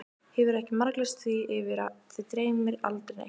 Hefurðu ekki marglýst því yfir að þig dreymi aldrei neitt?